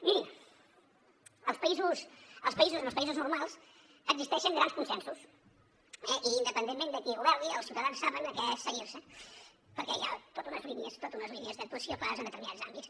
mirin als països normals existeixen grans consensos eh i independentment de qui governi els ciutadans saben a què cenyir se perquè hi ha totes unes línies d’actuació clares en determinats àmbits